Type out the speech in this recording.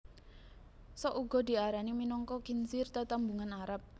Sok uga diarani minangka khinzir tetembungan Arab